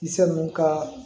Kisɛ ninnu ka